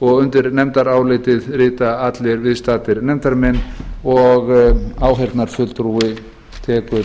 og undir nefndarálitið rita allir viðstaddir nefndarmenn og áheyrnarfulltrúi tekur